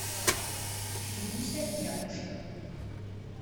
фидуся якушева